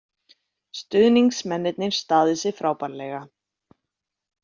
Stuðningsmennirnir staðið sig frábærlega